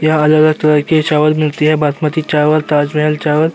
यहाँ हर तरह के चावल मिलते हैं| बासमती चावल ताजमहल चावल --